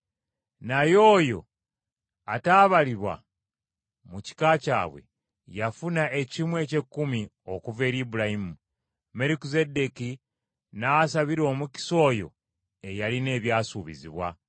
Naye oyo ataabalibwa mu kika kyabwe, yafuna ekimu eky’ekkumi okuva eri Ibulayimu, Merukizeddeeki n’asabira omukisa oyo eyalina ebyasuubizibwa.